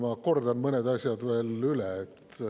Ma kordan mõned asjad veel üle.